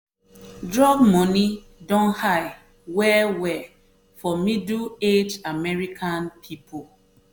drug money don high well-well for middle-aged american people.